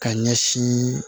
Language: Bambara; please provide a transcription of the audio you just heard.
Ka ɲɛsin